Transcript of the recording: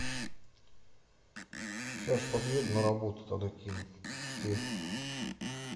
сейчас подъеду на работу тогда кину окей